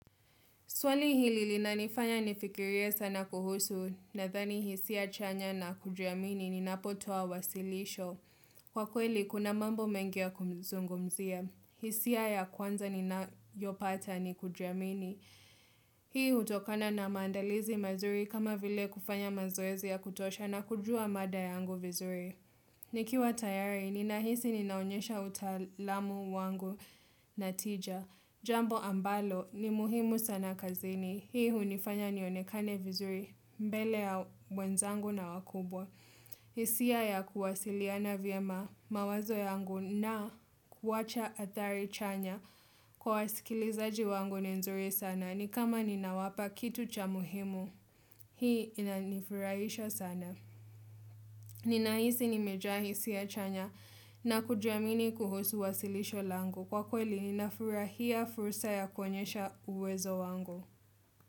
Swali hili na linifanya nifikiria sana kuhusu nadhani hisia chanya na kujiamini ninapotoa wasilisho. Kwa kweli, kuna mambo mengi kumzungumzia. Hisia ya kwanza ni nayopata nikujiamini. Hii hutokana na mandalizi mazuri kama vile kufanya mazoezi ya kutosha na kujua mada yangu vizuri. Nikiwa tayari, ninahisi ninaonyesha utaalamu wangu na tija. Jambo ambalo, ni muhimu sana kazini. Hii hunifanya nionekane vizuri mbele ya mwenzangu na wakubwa. Hisia ya kuwasiliana vya mawazo yangu na kuwacha adhari chanya kwa wasikilizaji wangu ni nzuri sana. Ni kama ninawapa kitu cha muhimu, hii inanifurahisha sana. Ninaisi nimejaa hisia chanya na kujiamini kuhusu wasilisho langu kwa kweli ninafurahia fursa ya kuonyesha uwezo wangu.